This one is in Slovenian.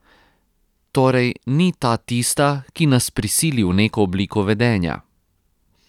Torej, ni ta tista, ki nas prisili v neko obliko vedenja.